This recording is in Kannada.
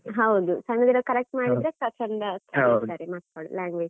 ಹೌದು. ಸಣ್ಣಗಿರುವಾಗ correct ಮಾಡಿದ್ರೆ, ಕಲಿತಾರೆ ಮಕ್ಳು language .